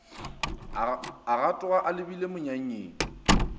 a gatoga a lebile monyanyeng